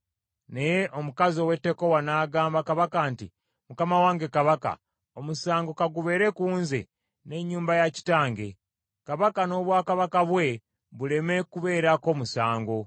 Naye omukazi ow’e Tekowa n’agamba kabaka nti, “Mukama wange kabaka, omusango ka gubeere ku nze, n’ennyumba ya kitange; kabaka n’obwakabaka bwe buleme kubeerako musango.”